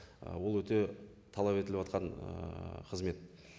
і ол өте талап етіліватқан ііі қызмет